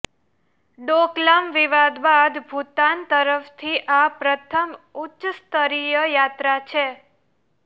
ડોકલામ વિવાદ બાદ ભૂતાન તરફથી આ પ્રથમ ઉચ્ચ સ્તરીય યાત્રા છે